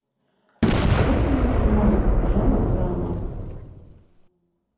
посоветуй мне фильмас жанр драма